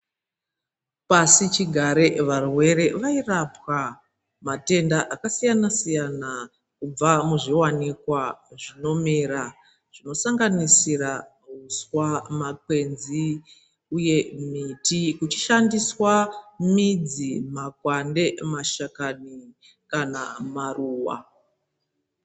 Pasichigare varwere vairapwa kumatenda kubva muzvinowanikwa zvinomera zvinosanganisira uswa , makwenzi uye miti uchishandiswa midzi, makwande nemashakani kana maruwa.